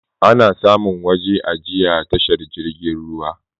Ana samun waje ajiya tashar jirgin ruwa